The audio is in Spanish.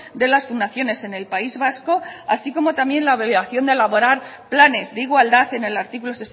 de las fundaciones en el país vasco así como también la obligación de elaborar planes de igualdad en el artículo